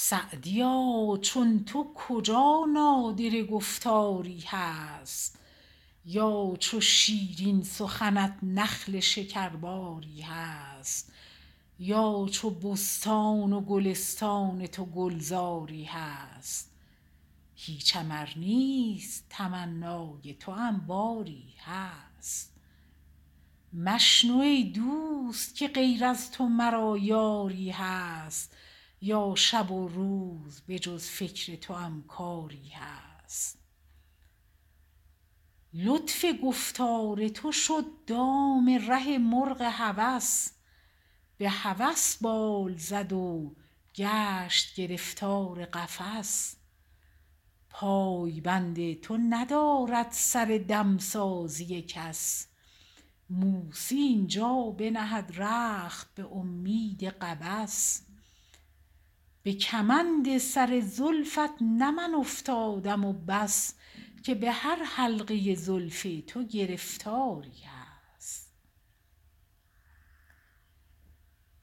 سعدیا چون تو کجا نادره گفتاری هست یا چو شیرین سخنت نخل شکرباری هست یا چو بستان و گلستان تو گلزاری هست هیچم ار نیست تمنای توأم باری هست مشنو ای دوست که غیر از تو مرا یاری هست یا شب و روز به جز فکر توأم کاری هست لطف گفتار تو شد دام ره مرغ هوس به هوس بال زد و گشت گرفتار قفس پای بند تو ندارد سر دمسازی کس موسی این جا بنهد رخت به امید قبس به کمند سر زلفت نه من افتادم و بس که به هر حلقه زلف تو گرفتاری هست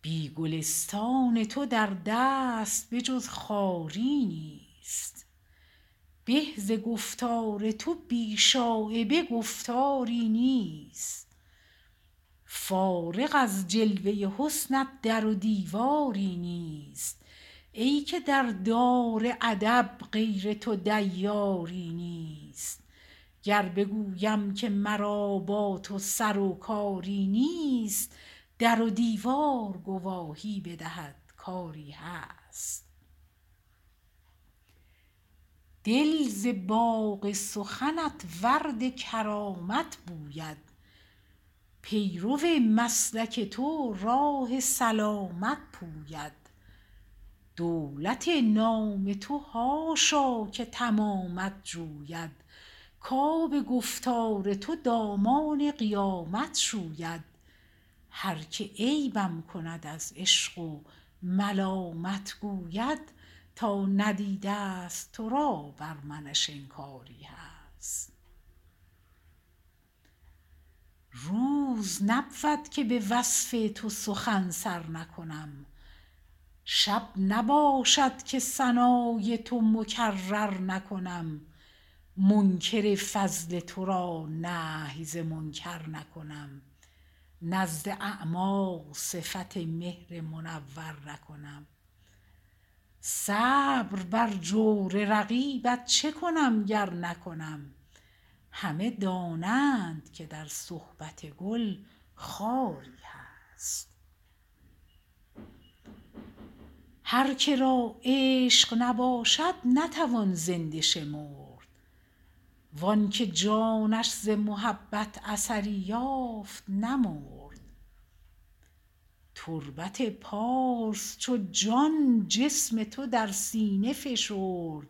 بی گلستان تو در دست به جز خاری نیست به ز گفتار تو بی شایبه گفتاری نیست فارغ از جلوه حسنت در و دیواری نیست ای که در دار ادب غیر تو دیاری نیست گر بگویم که مرا با تو سر و کاری نیست در و دیوار گواهی بدهد کاری هست دل ز باغ سخنت ورد کرامت بوید پیرو مسلک تو راه سلامت پوید دولت نام تو حاشا که تمامت جوید کاب گفتار تو دامان قیامت شوید هر که عیبم کند از عشق و ملامت گوید تا ندیده است تو را بر منش انکاری هست روز نبود که به وصف تو سخن سر نکنم شب نباشد که ثنای تو مکرر نکنم منکر فضل تو را نهی ز منکر نکنم نزد اعمیٰ صفت مهر منور نکنم صبر بر جور رقیبت چه کنم گر نکنم همه دانند که در صحبت گل خاری هست هرکه را عشق نباشد نتوان زنده شمرد وانکه جانش ز محبت اثری یافت نمرد تربت پارس چو جان جسم تو در سینه فشرد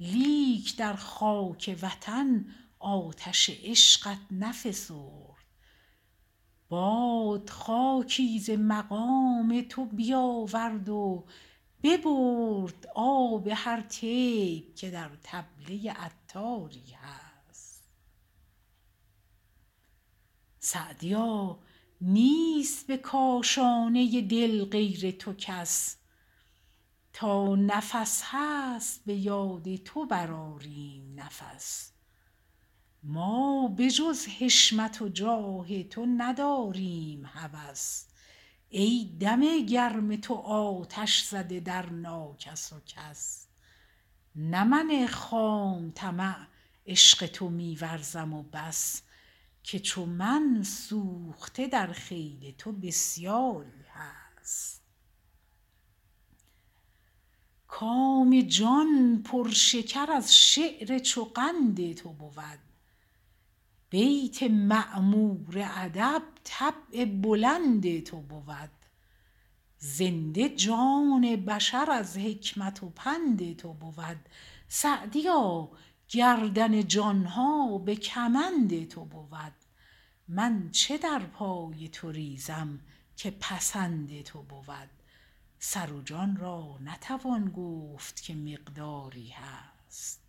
لیک در خاک وطن آتش عشقت نفسرد باد خاکی ز مقام تو بیاورد و ببرد آب هر طیب که در طبله عطاری هست سعدیا نیست به کاشانه دل غیر تو کس تا نفس هست به یاد تو برآریم نفس ما به جز حشمت و جاه تو نداریم هوس ای دم گرم تو آتش زده در ناکس و کس نه من خام طمع عشق تو می ورزم و بس که چو من سوخته در خیل تو بسیاری هست کام جان پر شکر از شعر چو قند تو بود بیت معمور ادب طبع بلند تو بود زنده جان بشر از حکمت و پند تو بود سعدیا گردن جان ها به کمند تو بود من چه در پای تو ریزم که پسند تو بود سر و جان را نتوان گفت که مقداری هست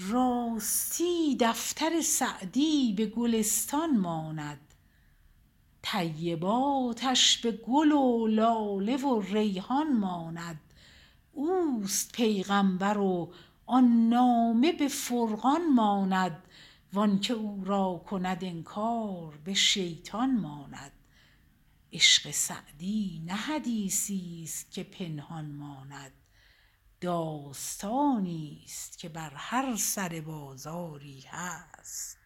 راستی دفتر سعدی به گلستان ماند طیباتش به گل و لاله و ریحان ماند اوست پیغمبر و آن نامه به فرقان ماند وانکه او را کند انکار به شیطان ماند عشق سعدی نه حدیثی است که پنهان ماند داستانی است که بر هر سر بازاری هست